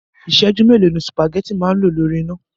Ìsẹ̀jú mélòó ni sùpàgétì máa ń lò lórí iná?